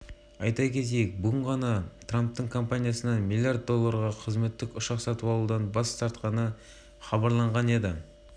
жаңадан сайланған президенттің баспасөз хатшысыджейсон миллер трамп өз акцияларын кімдерге және қаншаға сатып жібергені туралы айтуға